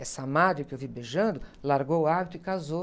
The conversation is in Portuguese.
Essa madre que eu vi beijando, largou o hábito e casou.